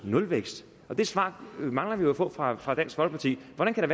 nulvækst det svar mangler vi jo at få fra fra dansk folkeparti hvordan kan